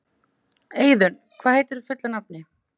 Eiðunn, hvað heitir þú fullu nafni?